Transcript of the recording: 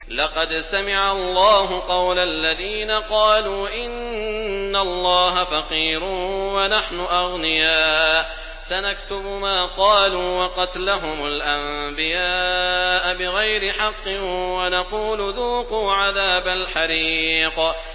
لَّقَدْ سَمِعَ اللَّهُ قَوْلَ الَّذِينَ قَالُوا إِنَّ اللَّهَ فَقِيرٌ وَنَحْنُ أَغْنِيَاءُ ۘ سَنَكْتُبُ مَا قَالُوا وَقَتْلَهُمُ الْأَنبِيَاءَ بِغَيْرِ حَقٍّ وَنَقُولُ ذُوقُوا عَذَابَ الْحَرِيقِ